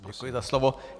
Děkuji za slovo.